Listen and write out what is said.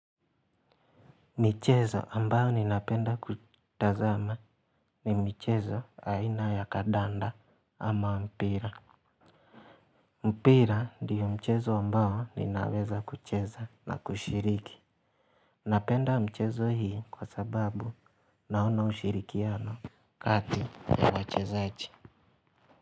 Michezo ambayo ninapenda kutazama ni michezo aina ya kadanda ama mpira. Mpira ndiyo mchezo ambao ninaweza kucheza na kushiriki. Napenda mchezo hiii kwa sababu naona ushirikiano. Kati ya wachezaji.